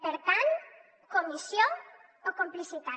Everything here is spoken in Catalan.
per tant comissió o complicitat